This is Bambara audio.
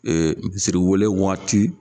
misiriwele wagati